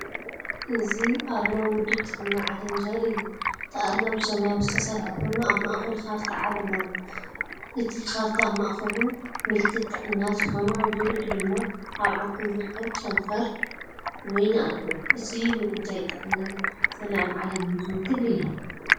እዚ ኣርማ ውድብ ጥዕና ዓለም ዘርኢ እዩ። እቲ ኣርማ ብሰማያዊ ዝተሰርሐ ኮይኑ፡ ኣብ ማእከሉ ካርታ ዓለም ኣሎ። እቲ ካርታኣብ ማእከሉ ምልክት ጥዕና ዝኾነ፡ኣብ ዙርያኡ ድማ ኣብዓንኬል ዝርከብ ጨንፈር ወይኒ ኣለዎ። እዚ ንጉዳይ ጥዕናን ሰላምን ዓለም ዝውክል እዩ።